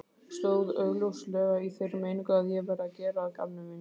Stóð augljóslega í þeirri meiningu að ég væri að gera að gamni mínu.